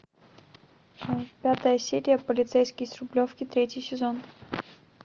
пятая серия полицейский с рублевки третий сезон